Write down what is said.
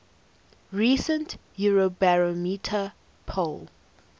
recent eurobarometer poll